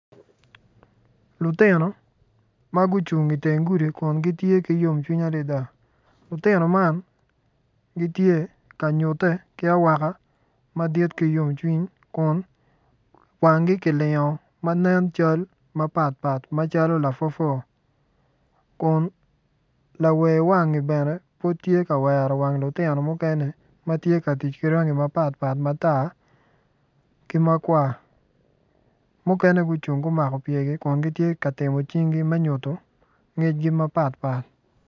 Lutino ma gucung i teng gudi ma gitye ki yomcwiny adada lutino man gitye ka nyutte ki awaka madit ki yomcwiny kun wangi kilingo ma nen col calo lapwopwo kun lawewangi bene tye ka wero wang lutino mukene ma tye ka tic ki rangi mapatpat matar ki ma kwa mukene gucung gumako pyergi me nyuto ngecgi mapatpat.